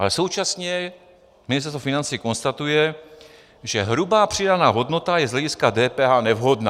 Ale současně Ministerstvo financí konstatuje, že hrubá přidaná hodnota je z hlediska DPH nevhodná.